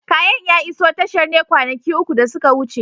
Kayan ya iso tashar ne kwanaki uku da suka wuce.